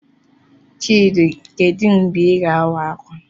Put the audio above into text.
Chidi, kedu mgbe Ị ga-awa ákwà?